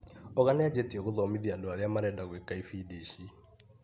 Oga nĩajĩtie gũthomithia andũ arĩa marenda gwĩka ibindi ici.